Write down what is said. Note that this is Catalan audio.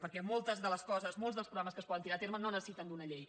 perquè moltes de les coses molts dels programes que es poden tirar a terme no necessiten una llei